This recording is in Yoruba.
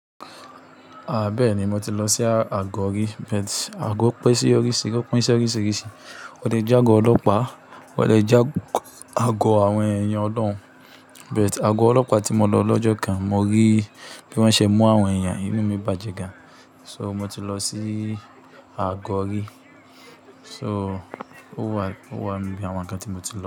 A bẹ́ẹ̀ni, mo ti lọ sí àgọ́ rí. But àgọ́ pín sí oríṣìíríṣìí, wọ́n lè jẹ́ àgọ́ ọlọ́pàá, wọ́n lè jẹ́ àgọ́ àwọn èèyàn ọ̀loun But àgọ́ ọlọ́pàá tí mo lọ lọ́jọ́ kan mo rí bí wọ́n ṣe mú àwọn èèyàn, inú mi bàjẹ́ gan. So mo ti lọ sí àgọ́ rí. So, ó wà níbi àwọn ǹkan tí mo ti lọ.